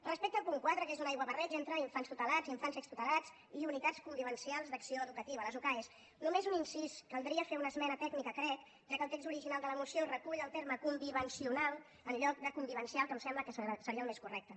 respecte al punt quatre que és un aiguabarreig entre infants tutelats i infants extutelats i unitats convivencials d’acció educativa les ucae només un incís caldria fer una esmena tècnica crec ja que el text original de la moció recull el terme convivencional en lloc de convivencial que em sembla que seria el més correcte